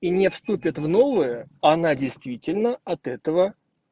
и не вступит в новые она действительно от этого